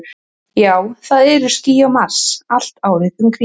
Já, það eru ský á Mars, allt árið um kring.